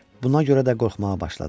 Buna görə də qorxmağa başladım.